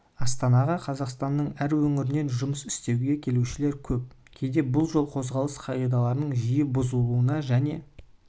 астанаға қазақстанның әр өңірінен жұмыс істеуге келушілер көп кейде бұл жол қозғалысы қағидаларының жиі бұзылуына және